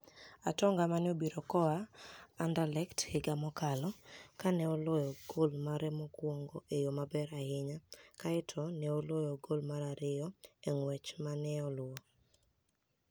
Atoniga ma ni e obiro koa Aniderlecht higa mokalo, ka ni e oloyo gol mare mokwonigo e yo maber ahiniya, kae to ni e oloyo gol mar ariyo e nig'wech ma ni e luwo.